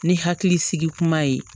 Ni hakili sigi kuma ye